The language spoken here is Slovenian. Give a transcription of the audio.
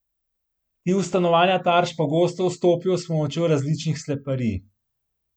Ti v stanovanja tarč pogosto vstopijo s pomočjo različnih sleparjih.